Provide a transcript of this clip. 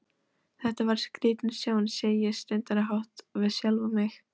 Þetta var skrítin sjón, segi ég stundarhátt við sjálfa mig.